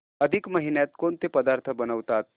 अधिक महिन्यात कोणते पदार्थ बनवतात